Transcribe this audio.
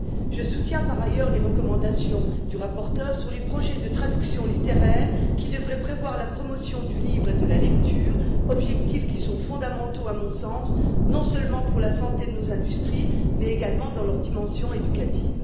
Je soutiens, par ailleurs, les recommandations de la rapporteure sur les projets de traduction littéraire, qui devraient prévoir la promotion du livre et de la lecture, objectifs fondamentaux, à mon sens, non seulement pour la santé de nos industries mais également dans leur dimension éducative.